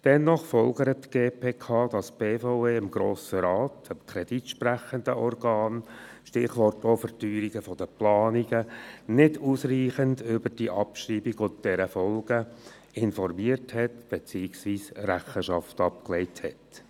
Dennoch folgert die GPK, dass die BVE den Grossen Rat, das kreditsprechende Organ – Stichwort Verteuerung der Planungen – nicht ausreichend über die Abschreibung und deren Folgen informiert beziehungsweise Rechenschaft abgelegt hat.